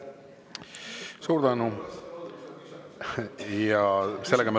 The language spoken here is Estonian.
Suur tänu!